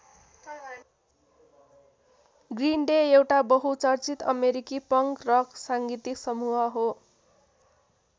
Green Day एउटा बहुचर्चित अमेरिकी पंक रक सांगितीक समूह हो।